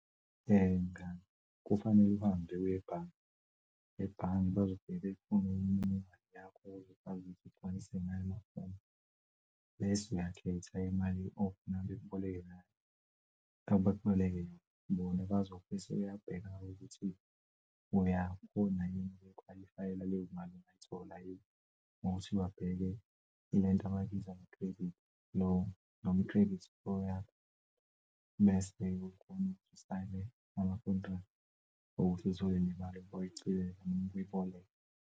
Mngani, kufanele uhambe uye ebhange ebhange bazofika befune imininingwane yakho bese uyakhetha imali ofuna bekuboleke yona bazobe sebeyabheka ukuthi uyakhona ukukhwalifayela leyo mali, ungayithola yini ngokuthi babheke lento abayibiza ngo-credit loan noma i-credit score yakho bese kukona usayine ama-contract okuthi uthole lemali oyicelay ukuyiboleka.